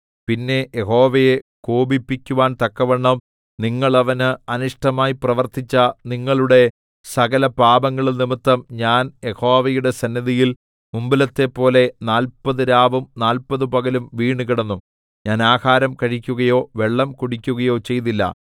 പിന്നെ യഹോവയെ കോപിപ്പിക്കുവാൻ തക്കവണ്ണം നിങ്ങൾ അവന് അനിഷ്ടമായി പ്രവർത്തിച്ച നിങ്ങളുടെ സകലപാപങ്ങളും നിമിത്തം ഞാൻ യഹോവയുടെ സന്നിധിയിൽ മുമ്പിലത്തെപ്പോലെ നാല്പത് രാവും നാല്പത് പകലും വീണ് കിടന്നു ഞാൻ ആഹാരം കഴിക്കുകയോ വെള്ളം കുടിക്കുകയോ ചെയ്തില്ല